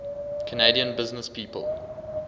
canadian businesspeople